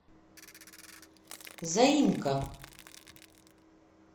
заимка